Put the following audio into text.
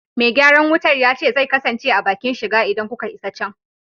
Me gyaran wutar ya ce zai kasance a bakin shiga idan kuka isa can.